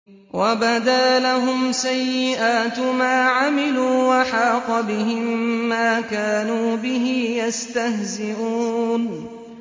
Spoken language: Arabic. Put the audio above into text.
وَبَدَا لَهُمْ سَيِّئَاتُ مَا عَمِلُوا وَحَاقَ بِهِم مَّا كَانُوا بِهِ يَسْتَهْزِئُونَ